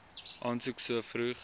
aansoek so vroeg